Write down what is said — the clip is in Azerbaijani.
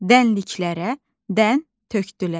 Dənliklərə dən tökdülər.